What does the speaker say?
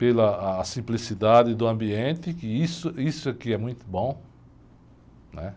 Pela simplicidade do ambiente, que isso, isso aqui é muito bom.